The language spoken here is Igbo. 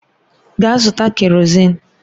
Gaa zụta kerọzin!